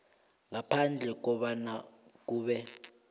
ngaphandle kobana kube